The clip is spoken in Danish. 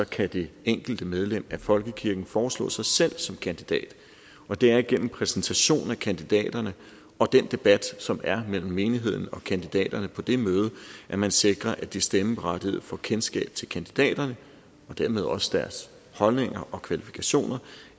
kan det enkelte medlem af folkekirken foreslå sig selv som kandidat og det er igennem præsentation af kandidaterne og den debat som er mellem menigheden og kandidaterne på det møde at man sikrer at de stemmeberettigede får kendskab til kandidaterne og dermed også deres holdninger og kvalifikationer